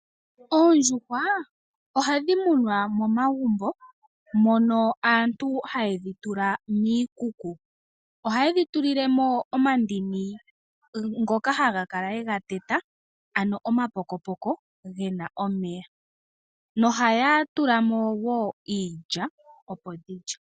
Oondjuhwa ohadhi munwa momagumbo mono aantu hayedhi tula kiikuku ohayedhi tulilemo omandini ngoka haya kala yega teta ano omapokopoko gena omeya nohaya tula mo wo iilya opo dhilye.